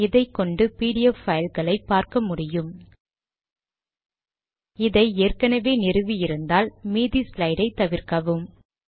இதைகொண்டு PDF file களை பார்க்க முடியும் இதை ஏற்கனவே நிறுவி இருந்தால் மீதி ஸ்லைடை தவிர்க்கவும்